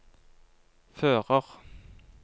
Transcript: fører